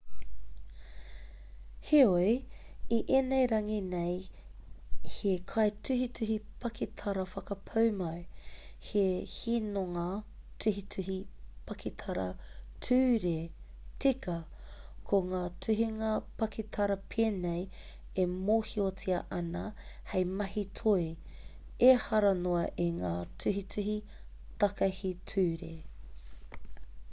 heoi i ēnei rangi nei he kaituhituhi pakitara whakapūmau he hinonga tuhituhi pakitara ture tika ko ngā tuhinga pakitara pēnei e mōhiotia ana hei mahi toi ehara noa i ngā tuhituhi takahi ture